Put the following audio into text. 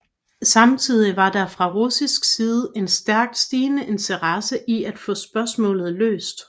Samtidig var der fra russisk side en stærkt stigende interesse i at få spørgsmålet løst